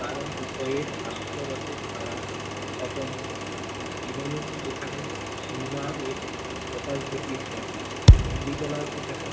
কারণ উভয়ের হাস্যরসের ধারা স্বতন্ত্র দীনবন্ধু যেখানে চুমারের কপাল ফেটিয়েছেন অমৃতলাল সেখানে